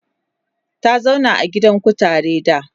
ta zauna a gidan kutare da